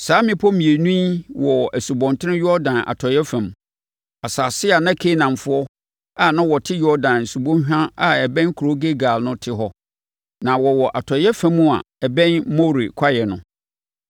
Saa mmepɔ mmienu yi wɔ Asubɔnten Yordan atɔeɛ fam, asase a na Kanaanfoɔ a na wɔte Yordan subɔnhwa a ɛbɛn kuro Gilgal no te hɔ. Na wɔwɔ atɔeɛ fam a ɛbɛn More kwaeɛ no.